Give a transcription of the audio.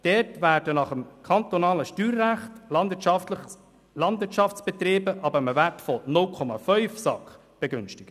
Dort werden nach dem kantonalen Steuerrecht Landwirtschaftsbetriebe ab einem Wert von 0,5 SAK begünstigt.